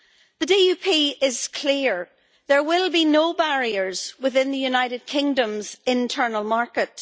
The DUP is clear there will be no barriers within the United Kingdom's internal market.